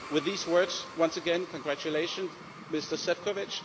With these words, once again congratulations, Mr Šefčovič.